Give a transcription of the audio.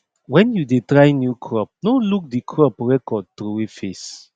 wen you dey try new crop no look the crop record throway face